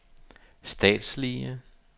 statslige